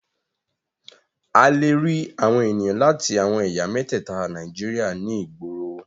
A lè rí àwọn ènìyàn láti àwọn ẹ̀yà mẹ́tẹ̀ẹta Nàíjíríà ní ìgboro.